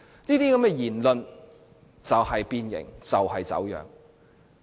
這些言論就是變形，就是走樣。